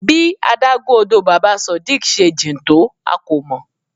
Bí adágún odò Baba Sodiq se jìn tó a kò mọ̀.